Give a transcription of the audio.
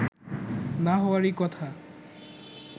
না হওয়ারই কথা